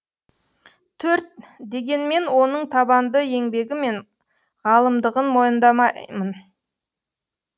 төрт дегенмен оның табанды еңбегі мен ғалымдығын мойындаймын